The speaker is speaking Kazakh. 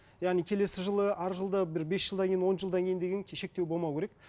яғни келесі жылы арғы жылда бір бес жылдан кейін он жылдан кейін деген шектеу болмау керек